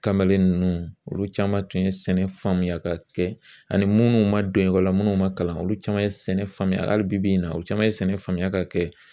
Kamalen ninnu olu caman tun ye sɛnɛ ka kɛ ani munnu ma don ekɔli la minnu ma kalan olu caman ye sɛnɛ hali bibi in na olu caman ye sɛnɛ faamuya ka kɛ